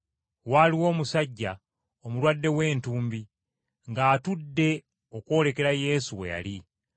Waaliwo omusajja omulwadde w’entumbi ng’atudde okwolekera Yesu we yali.